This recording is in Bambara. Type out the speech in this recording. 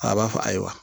A b'a fɔ ayi wa